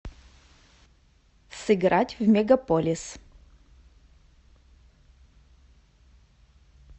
сыграть в мегаполис